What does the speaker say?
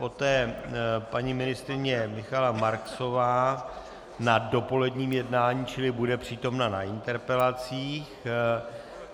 Poté paní ministryně Michaela Marksová na dopoledním jednání, čili bude přítomna na interpelacích.